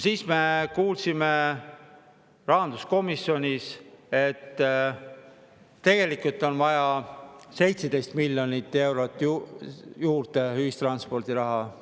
Me kuulsime rahanduskomisjonis, et tegelikult on vaja 17 miljonit eurot ühistranspordiraha juurde.